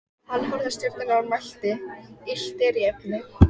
Þessi lýður allur sest bara upp hjá ykkur.